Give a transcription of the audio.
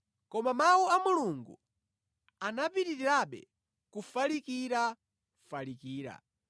Koma Mawu a Mulungu anapitirirabe kufalikirafalikira.